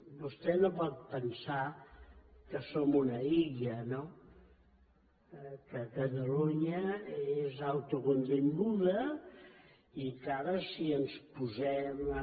vostè no pot pensar que som una illa no que catalunya és autocontinguda i que ara si ens posem a